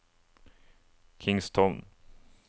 Kingstown